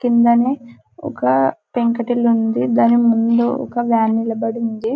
కిందనే ఒక పెంకుటిల్లు ఉంది దాని ముందు ఒకామె నిలబడి ఉంది.